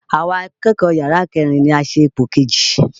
Àwa akẹ́kọ̀ọ́ yàrá kẹ́rin ni a ṣe ipò kejì.